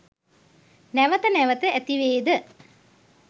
නැවත නැවත ඇතිවේද?